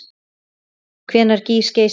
Hvenær gýs Geysir aftur?